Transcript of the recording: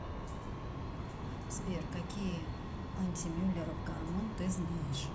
сбер какие антимюллеров гормон ты знаешь